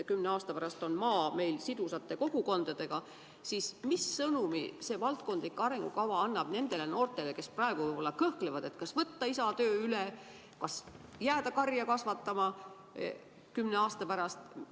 Kui te nüüd selle arengukava ette võtate, siis mis sõnumi see valdkondade arengukava annab nendele noortele, kes praegu võib-olla kõhklevad, kas võtta isa töö üle, kas jääda karja kasvatama kümne aasta pärast?